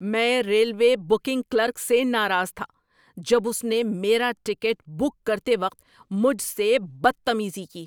میں railway booking clerk سے ناراض تھا جب اس نے میرا ٹکٹ بک کرتے وقت مجھ سے بدتمیزی کی۔